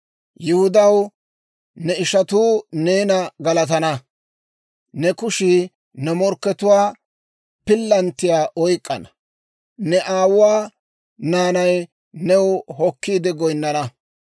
«Yihudaw, ne ishatuu neena galatana. Ne kushii ne morkkatuwaa pillanttiyaa oyk'k'ana. Ne aawuwaa naanay new hokkiide goynnana.